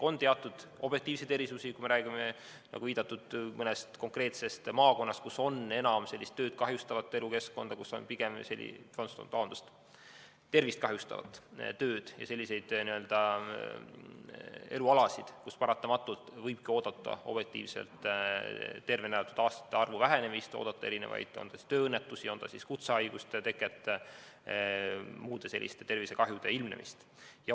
On teatud objektiivseid erisusi, kui me räägime, nagu viidatud, mõnest konkreetsest maakonnast, kus on enam tervist kahjustavat tööd ja selliseid elualasid, kus paratamatult võibki objektiivselt oodata tervena elatud aastate arvu vähenemist, tööõnnetusi, kutsehaiguste teket, muude selliste tervisekahjude ilmnemist.